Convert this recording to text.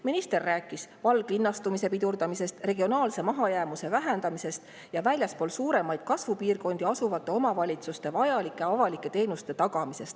Minister rääkis valglinnastumise pidurdamisest, regionaalse mahajäämuse vähendamisest ja väljaspool suuremaid kasvupiirkondi asuvates omavalitsustes vajalike avalike teenuste tagamisest.